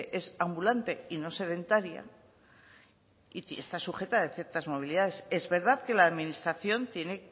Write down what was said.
es ambulante y no sedentaria y está sujeta de ciertas movilidades es verdad que la administración tiene